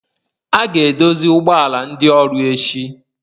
A ga-edozi ụgbọ ala ndị ọrụ echi